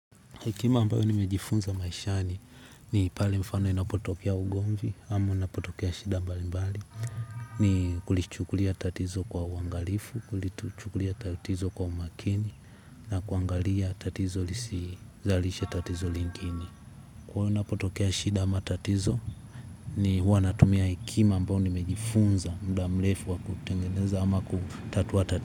Hekima ambayo nimejifunza maishani ni pale mfano inapotokea ugomvi ama inapotokea shida mbali mbali. Ni kulichukulia tatizo kwa uangalifu. Kulichukulia tatizo kwa umakini. Na kuangalia tatizo lisizalishe tatizo lingine kwahyo inapotokea shida ama tatizo ni huwa wanatumia hekima ambayo nimejifunza muda mrefu wa kutengeneza ama kutatuwa tatizo.